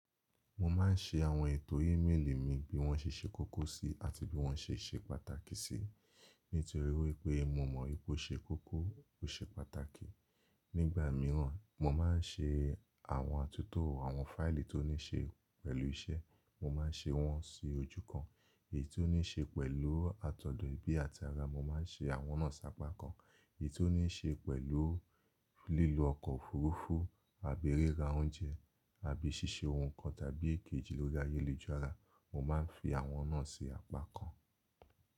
Mo ma n ṣe àwọn ètò ímeèlì mi bí wọ́n ṣe ṣe kókó sí àti bí wọ́n ṣe ṣe pàtàkì sì. Nítorí wípé mo mọ̀ pe ó ṣe kókó, ó ṣe pàtàkì. Nígbà míràn mo ma n ṣe àwọn àtúntò àwọn fáìlì tó ní ṣe pẹ̀lú iṣẹ́, mo ma n ṣe wọ́n sí ojú kan. Èyí tó ní ṣe pẹ̀lú àtọ̀dọ̀ ẹbí àti ara, mo ma n ṣe àwọn náà sápá kan. Èyí tó ní ṣe pẹ̀lú lílo ọkọ̀ òfuurufú, àbi rira oúnjẹ, àbí ṣíṣe ohun kan tàbí èkejì lórí ayélujára, mo ma n fi àwọn náà sí apá kan.